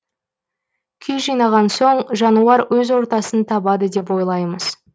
күй жинаған соң жануар өз ортасын табады деп ойлаймыз